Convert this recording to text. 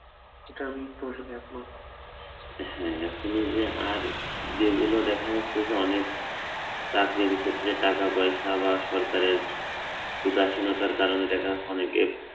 এতে আমি তোমার সাথে একমত, হ্যা এখন যে আর যেগুলো দেখা যাচ্ছে যে অনেক চাকরির ক্ষেত্রে টাকাপয়সা বা সরকারের উদাসীনতার কারণে দেখা যাচ্ছে যে অনেকে